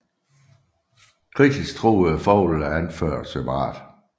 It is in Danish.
Kritisk truede fugle er anført separat